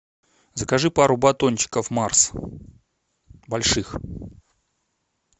закажи пару батончиков марс больших